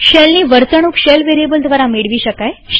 શેલની વર્તણુક shell variable દ્વારા મેળવી શકાય છે